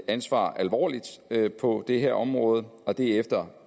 ansvar alvorligt på det her område og det er efter